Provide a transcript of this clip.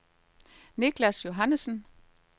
Nicklas Johannessen